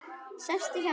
Sestu hjá mér.